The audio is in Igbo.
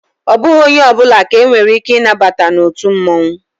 Ọ bụghị onye ọbụla ka e nwere ike ị nabata na otu mmụọnwụ